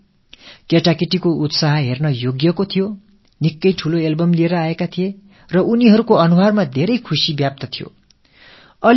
அந்த மாணவ மாணவியரிடம் உற்சாகம் கரைபுரண்டு ஓடிக் கொண்டிருந்தது அவர்கள் மிகப் பெரிய ஆல்பம் ஒன்றைக் கொண்டு வந்திருந்தார்கள் அவர்கள் முகங்களில் சந்தோஷம் கொப்பளித்துக் கொண்டிருந்தது